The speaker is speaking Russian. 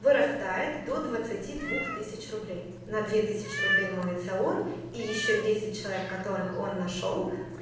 вырастает до двадцати двух тысяч рублей на две тысячи рублей моется он и ещё десять человек которых он нашёл